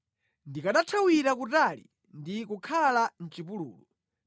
Ndikanathawira kutali ndi kukakhala mʼchipululu.